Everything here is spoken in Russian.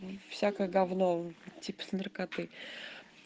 всякое говно типа с наркотой